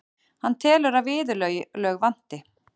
Hann telur að viðurlög vanti.